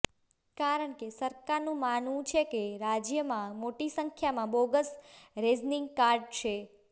કારણ કે સરકારનું માનવું છે કે રાજ્યમાં મોટી સંખ્યામાં બોગસ રેશનિંગ કાર્ડ છે